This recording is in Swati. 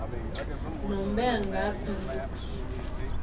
nanobe ngabe ngubuphi